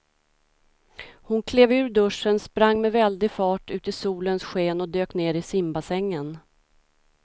Hon klev ur duschen, sprang med väldig fart ut i solens sken och dök ner i simbassängen.